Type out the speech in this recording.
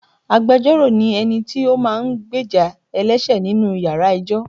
Agbẹjoro ni ẹni tí ó máa ń gbéjà ẹlẹṣẹ nínú ìyára ẹjọ́.